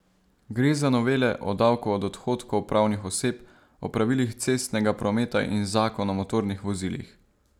Gre za novele o davku od odhodkov pravnih oseb, o pravilih cestnega prometa in zakon o motornih vozilih.